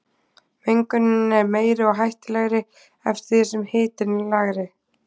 Mengunin er meiri og hættulegri eftir því sem hitinn er lægri.